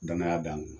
Danaya dan n ma